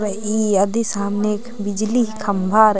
रइई अधी सामने एक बिजली ही खंभा र--